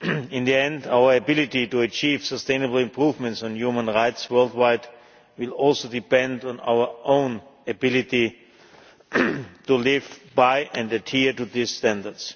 In the end, our ability to achieve sustainable improvements on human rights worldwide will also depend on our own ability to live by, and adhere to, these standards.